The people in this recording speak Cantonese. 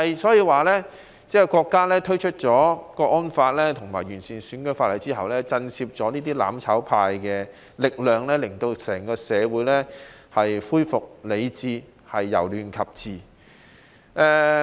所以國家推出《香港國安法》及完善選舉制度，確實震懾了"攬炒派"的力量，讓整個社會恢復理智，由亂及治。